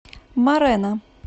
морена